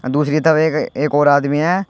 दूसरी तरफ एक एक और आदमी है।